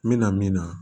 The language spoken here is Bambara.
N mɛna min na